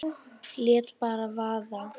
Lét bara vaða.